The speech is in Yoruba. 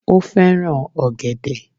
Ó fẹ́ràn ògẹ̀dẹ̀